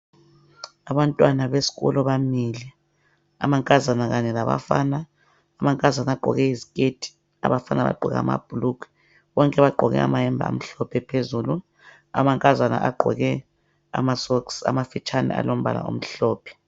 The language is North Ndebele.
Abantwana besikolo bamile amankazana kanye labafana, amankazana agqoke iziketi abafana bagqoke amabhulugwe bonke bagqoke amayembe amhlophe phezulu amankazana agqoke ama socks amafitshane alombala omhlophe.